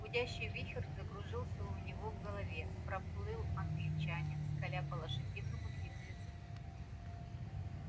гудящий вихрь закружился у него в голове проплыл англичанин скаля по-лошадиному длинные зубы